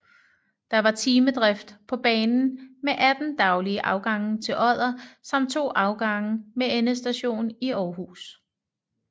Der var timedrift på banen med 18 daglige afgange til Odder samt to afgange med endestation i Aarhus